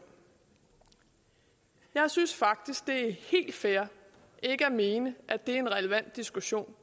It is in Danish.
jeg synes faktisk det er helt fair ikke at mene at det er en relevant diskussion